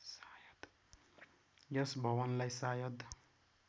यस भवनलाई सायद